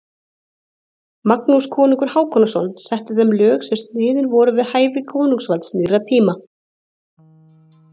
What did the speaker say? Magnús konungur Hákonarson setti þeim lög sem sniðin voru við hæfi konungsvalds nýrra tíma.